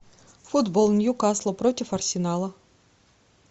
футбол ньюкасл против арсенала